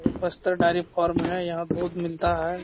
ये पस्तर dairy farm है यहाँ दूध मिलता है।